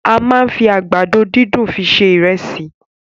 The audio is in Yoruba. A máa n fí àgbàdo dundun fi se ìresì.